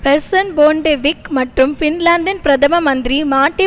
person Bondevik மற்றும் பின்லாந்தின் பிரதம மந்திரி மாட்டி